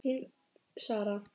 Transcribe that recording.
Þín Sara.